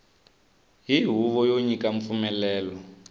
hi huvo yo nyika mpfumelelo